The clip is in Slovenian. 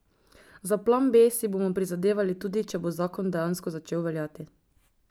Za plan B si bomo prizadevali tudi, če bo zakon dejansko začel veljati.